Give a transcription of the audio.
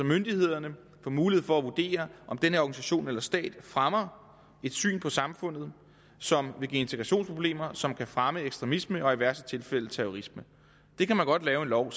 myndighederne får mulighed for at vurdere om den her organisation eller stat fremmer et syn på samfundet som vil give integrationsproblemer som kan fremme ekstremisme og i værste tilfælde terrorisme det kan man godt lave en lov